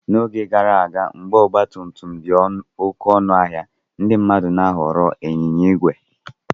n’oge gara aga, mgbe ọgba tum tum dị oké ọnụ ahịa, ndị mmadụ na-ahọrọ ịnyịnya ígwè